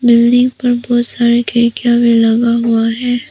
Building पर बहुत सारे खिड़कियां भी लगा हुआ है।